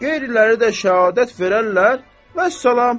Qeyriləri də şəhadət verərlər, vəssalam.